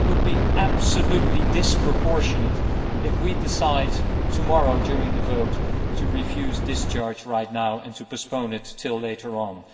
It would be absolutely disproportionate if we decided tomorrow during the vote to refuse discharge right now and to postpone it until later on.